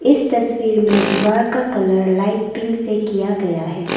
इस तस्वीर में दीवार का कलर लाइट पिंक पर किया गया है।